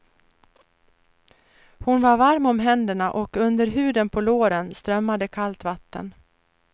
Hon var varm om händerna och under huden på låren strömmade kallt vatten.